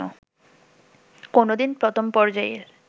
কোনোদিন প্রথম পর্যায়ের